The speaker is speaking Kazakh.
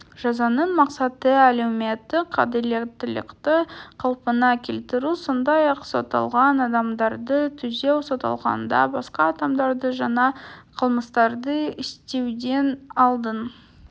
жазаның мақсаты әлеуметтік әділеттілікті қалпына келтіру сондай-ақ сотталған адамдарды түзеу сотталғанда басқа адамдарды жаңа қылмыстарды істеуден алдын